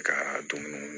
Ka dumuni